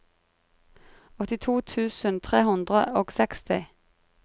åttito tusen tre hundre og seksti